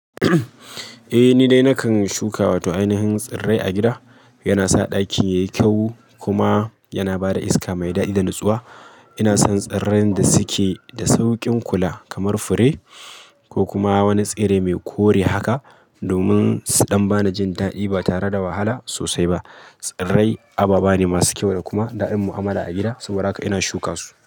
Eh, ni dai nakan shuka wata ainihin tsirrai a gida. Yana sa ɗakin yayi kyau kuma yana bada iska mai daɗi da nutsuwa. Ina son tsirran da suke da saukin kula kamar fure ko kuma wani tsirrai mai kore haka, domin su ɗan bana jin da'i ba tare da wahala sosai ba. Tsirrai abu bane masu kyau da kuma da'in mu'amala a gida, saboda haka ina shuka su.